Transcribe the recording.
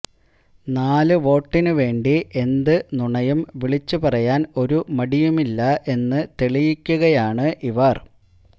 നാല് വോട്ടിന് വേണ്ടി എന്ത് നുണയും വിളിച്ചുപറയാൻ ഒരു മടിയുമില്ല എന്ന് തെളിയിക്കുകയാണ് ഇവർ